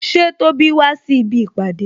Ṣé Tóbi wá síbi ìpàdé?